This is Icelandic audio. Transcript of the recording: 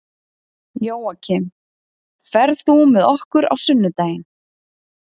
Jóakim, ferð þú með okkur á sunnudaginn?